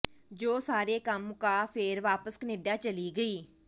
ਜੋ ਸਾਰੇ ਕੰਮ ਮੁਕਾ ਫੇਰ ਵਾਪਸ ਕਨੇਡਾ ਚਲੀ ਗਈ